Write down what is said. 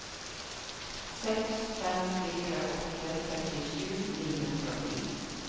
seks fem fire åtte trettisju ni hundre og ti